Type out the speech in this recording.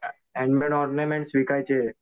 Handmade ornaments विकायचे.